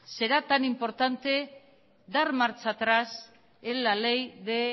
será tan importante dar marcha atrás en la ley de